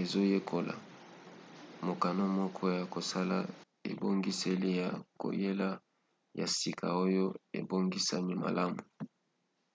ezoyekola? mokano moko ya kosala ebongiseli ya koyela ya sika oyo ebongisami malamu